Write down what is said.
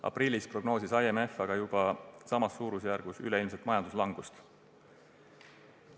Aprillis prognoosis IMF aga juba samas suurusjärgus üleilmset majanduslangust.